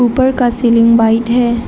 ऊपर का ceiling white है।